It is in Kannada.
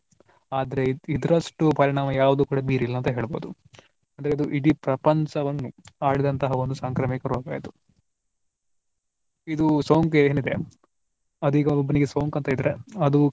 ಆದರೆ ಇದರಷ್ಟು ಪರಿಣಾಮ ಯಾವ್ದು ಕೂಡಾ ಬೀರಿಲ್ಲ ಅಂತ ಹೇಳ್ಬಹುದು ಅಂದ್ರೆ ಇಡೀ ಪ್ರಪಂಚವನ್ನು ಹರಡಿದಂತ ಒಂದು ಸಾಂಕ್ರಾಮಿಕ ರೋಗ ಇದು. ಇದು ಸೋಂಕು ಏನಿದೆ ಅದು ಈಗ ಒಬ್ಬನಿಗೆ ಸೋಂಕು ಅಂತ ಇದ್ರೆ ಅದು.